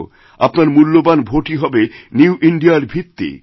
আপনার মূল্যবান ভোটই হবে নিউ ইন্দিয়া রভিত্তি